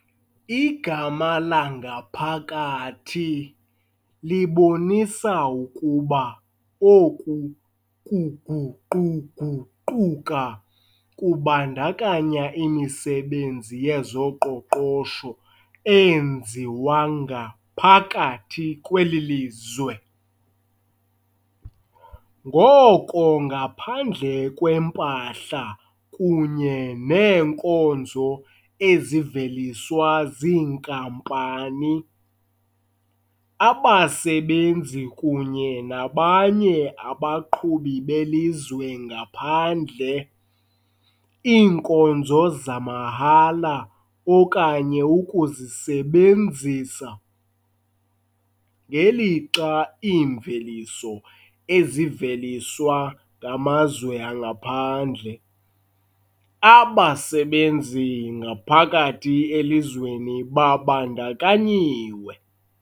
Igama "langaphakathi" libonisa ukuba oku kuguquguquka kubandakanya imisebenzi yezoqoqosho eyenziwa ngaphakathi kweli lizwe, ngoko ngaphandle kwempahla kunye neenkonzo eziveliswa ziinkampani, abasebenzi kunye nabanye abaqhubi belizwe ngaphandle, iinkonzo zamahala okanye ukuzisebenzisa, ngelixa iimveliso eziveliswa ngamazwe angaphandle. Abasebenzi ngaphakathi elizweni babandakanyiwe.